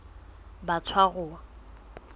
batshwaruwa